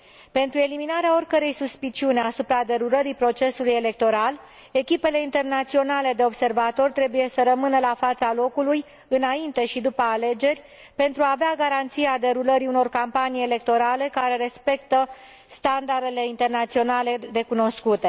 Pentru eliminarea oricărei suspiciuni asupra derulării procesului electoral, echipele internaționale de observatori trebuie să rămână la fața locului, înainte și după alegeri, pentru a avea garanția derulării unor campanii electorale care respectă standardele internaționale recunoscute.